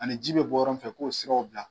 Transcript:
Ani ji bɛ bɔ yɔrɔ min fɛ k'u ye siraw bila.